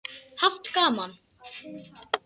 Haft gaman af.